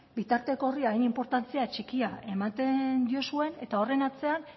bitarteko horri hain inportantzia txikia ematen diozuen eta horren atzean